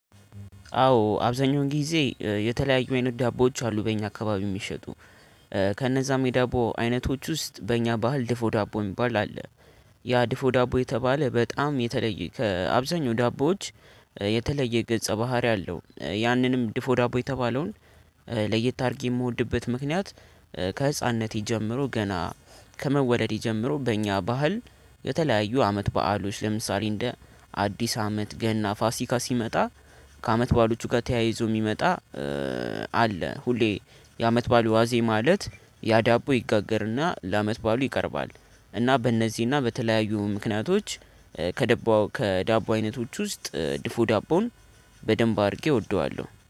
አዎ አብዛኛው ጊዜ የተለያዩ አይነት ዳቦዎች አሉ በእኛ አካባቢ የሚሸጡ ከእነዛም የዳቦ አይነቶች ውስጥ በእኛ ባህል ድፎ ዳቦ የሚባል አለ። ያ ድፎ ዳቦ የተባለ በጣም የተለየ ከአብዛኛው ዳቦዎች የተለየ ገጸ ባህሪ አለው። ያንንም ድፎ ዳቦ የተባለውን ለየት አድርጌ የምወድበት ምክንያት። ከህፃንነቴ ጀምሮ ገና ከመወደድ ጀምሮ በእኛ ባህል የተለያዩ አመት በዓሎች ለምሳሌ እንደ አዲስ አመት ገና ፋሲካ ሲመጣ ከአመት በዓሎቹ ጋር ተያይዞ የሚመጣ። አለ ሁሌ የአመት ባሉ ዋዜ ማለት ያዳቦ ይጋገርና ለአመት ባሉ ይቀርባል። እና በእነዚህና በተለያዩ ምክንያቶች ከዳቦ አይነቶች ውስጥ ድፎ ዳቦን በደንብ አድርጌ እወደዋለሁ